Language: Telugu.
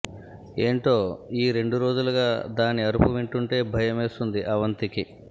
ఏంటో ఈ రెండు రోజులుగా దాని అరుపు వింటుంటే భయమేస్తోంది అవంతికి